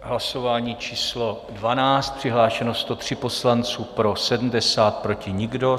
Hlasování číslo 12, přihlášeno 103 poslanců, pro 70, proti nikdo.